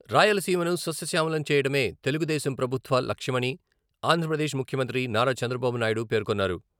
రాయలసీమను సస్యశ్యామలం చేయడమే తెలుగుదేశం ప్రభుత్వ లక్ష్యమని ఆంధ్రప్రదేశ్ ముఖ్యమంత్రి నారా చంద్రబాబు నాయుడు పేర్కొన్నారు.